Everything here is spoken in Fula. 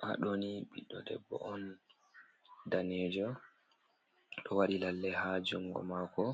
Haa ɗoni ɓiɗɗo debbo on danejo ɗo waɗi lalle haa jungo mako,